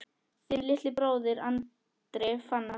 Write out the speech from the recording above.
Þinn litli bróðir, Andri Fannar.